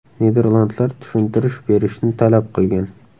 Niderlandlar tushuntirish berishni talab qilgan.